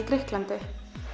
Grikklandi